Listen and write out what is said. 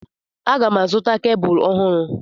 Aga m azụta kebụl ọhụrụ.